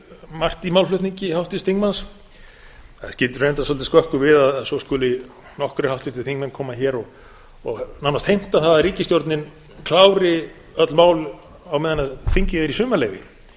margt í málflutningi háttvirts þingmanns það skýtur reyndar svolítið skökku við að svo skuli nokkrir háttvirtir þingmenn koma hér og nánast heimta það að ríkisstjórnin klári öll mál á meðan þingið er í sumarleyfi